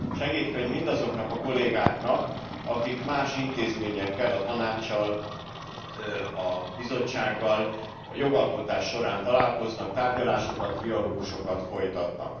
Segédkönyv mindazoknak a kollégáknak, akik más intézményekkel, a Tanáccsal, a Bizottsággal jogalkotás során találkoznak, tárgyalásokat, trialógusokat folytatnak.